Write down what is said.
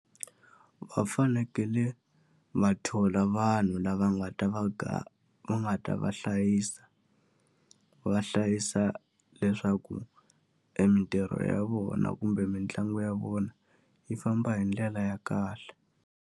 Va fanekele va thola vanhu lava nga ta va va nga ta va hlayisa. Va hlayisa leswaku emitirho ya vona kumbe mitlangu ya vona, yi famba hi ndlela ya kahle.